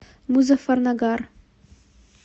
музаффарнагар